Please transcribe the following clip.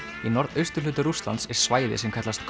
í norðausturhluta Rússlands er svæði sem kallast